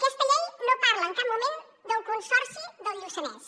aquesta llei no parla en cap moment del consorci del lluçanès